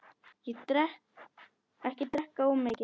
Ekki drekka of mikið.